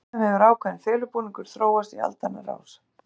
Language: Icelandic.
Hjá þeim hefur ákveðin felubúningur þróast í aldanna rás.